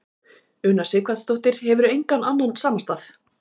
Una Sighvatsdóttir: Hefurðu engan annan samastað?